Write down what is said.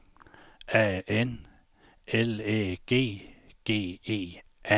A N L Æ G G E